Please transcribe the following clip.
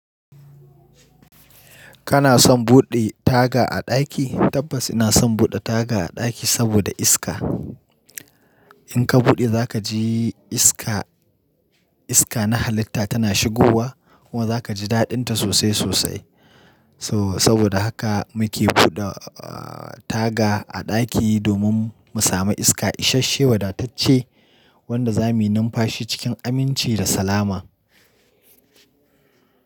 Kana son buɗe taga a ɗaki? Tabbas ina son buɗe taga a ɗaki saboda iska. In ka buɗe za ka ji iska, iska na halitta tana shigowa kuma za ka ji daɗinta sosai sosai. So-saboda haka muke buɗe, ah, taga a ɗaki domin mu sami iska. Ishashe wadatacce wanda za mu numfa shi cikin aminci da salama.